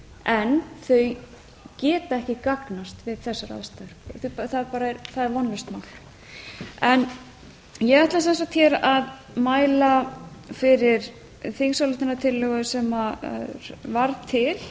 en þau geta ekki gagnast við þessar aðstæður það er vonlaust mál ég ætla sem sagt hér að mæla fyrir þingsályktunartillögu sem varð til